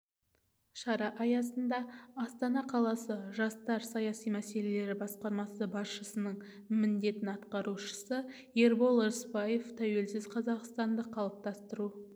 шара аясында астана қаласы жастар саясаты мәселелері басқармасы басшысының міндетін атқарушы ербол рыспаев тәуелсіз қазақстанды қалыптастыру